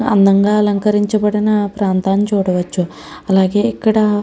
అంధంగా అలకరించిన ప్రాంతాన్ని చూడవచ్చు. అలగే ఇక్కడ --